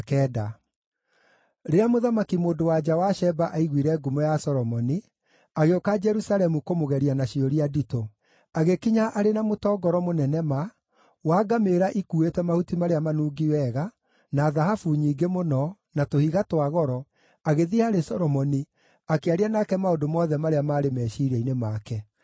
Rĩrĩa mũthamaki-mũndũ-wa-nja wa Sheba aiguire ngumo ya Solomoni, agĩũka Jerusalemu kũmũgeria na ciũria nditũ. Agĩkinya arĩ na mũtongoro mũnene ma, wa ngamĩĩra ikuuĩte mahuti marĩa manungi wega, na thahabu nyingĩ mũno, na tũhiga twa goro, agĩthiĩ harĩ Solomoni, akĩaria nake maũndũ mothe marĩa maarĩ meciiria-inĩ make.